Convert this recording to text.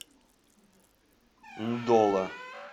ндола